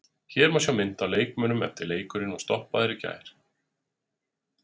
Hér má sjá mynd af leikmönnum eftir að leikurinn var stoppaður í gær.